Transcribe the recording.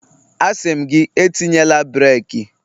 A sị m gị, etinyela breeki